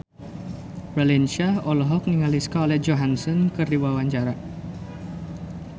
Raline Shah olohok ningali Scarlett Johansson keur diwawancara